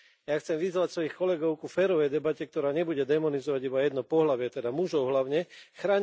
Ja chcem vyzvať svojich kolegov k férovej debate, ktorá nebude démonizovať iba jedno pohlavie, teda hlavne mužov.